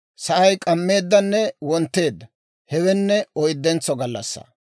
Sa'ay k'ammeeddanne wontteedda; hewenne oyddentso gallassaa.